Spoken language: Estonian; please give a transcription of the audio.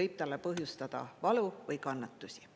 võib talle põhjustada valu või kannatusi.